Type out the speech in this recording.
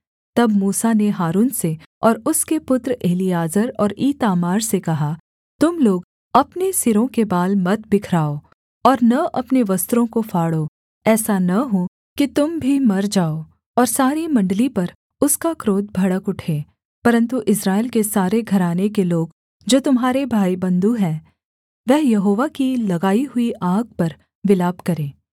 तब मूसा ने हारून से और उसके पुत्र एलीआजर और ईतामार से कहा तुम लोग अपने सिरों के बाल मत बिखराओ और न अपने वस्त्रों को फाड़ो ऐसा न हो कि तुम भी मर जाओ और सारी मण्डली पर उसका क्रोध भड़क उठे परन्तु इस्राएल के सारे घराने के लोग जो तुम्हारे भाईबन्धु हैं वह यहोवा की लगाई हुई आग पर विलाप करें